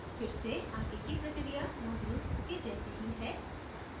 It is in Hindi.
फिर से again की प्रक्रिया modules के जैसे ही है